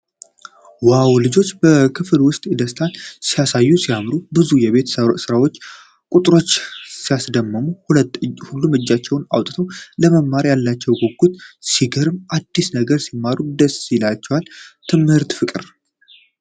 ዋው! ልጆች በክፍል ውስጥ ደስታ ሲያሳዩ ሲያምር! ብዙ የቤት ስራና ቁጥሮች ሲያስደምሙ። ሁሉም እጃቸውን አውጥተዋል። ለመማር ያላቸው ጉጉት ሲገርም ። አዲስ ነገር ሲማሩ ደስ ይላቸዋል። የትምህርት ፍቅር!